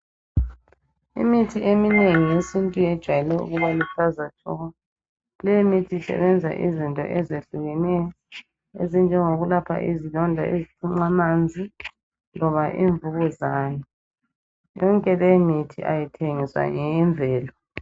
Imithi eminengi yesintu yejwayele ukuba luhlaza tshoko. Leyi mithi isebenza izinto ezehlukeneyo ezinjengokulapha izilonda ezithunqa amanzi loba imvukuzane. Yonke leyo mithi ayithengiswa ngeyemvelo.